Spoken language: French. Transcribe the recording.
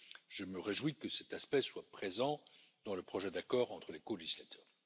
Je me réjouis que cet aspect soit présent dans le projet d'accord entre les colégislateurs.